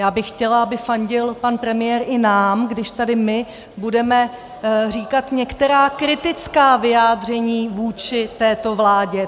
Já bych chtěla, aby fandil pan premiér i nám, když tady my budeme říkat některá kritická vyjádření vůči této vládě.